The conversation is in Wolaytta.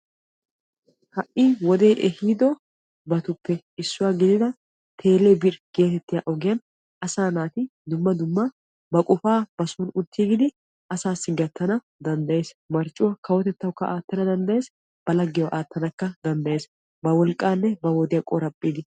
ha'i wode ehiidobatuppe issuwa gidida "tele birr' getettiyaa ogee asaa naati dumma dumma ba qofaa soon uttiigidi gattaana danddayees. marccuwa kawotettawukka aattana danddayyees, ba laggiyaawukka aattana danddayees. ba wolqqanne ba wodiya qoraphphiidi.